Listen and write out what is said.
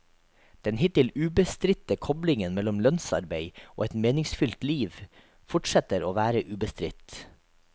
Den hittil ubestridte koblingen mellom lønnsarbeid og et meningsfylt liv fortsetter å være ubestridt.